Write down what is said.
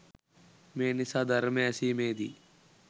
මේ නිසා ධර්මය ඇසීමේදී